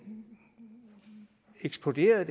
eksploderede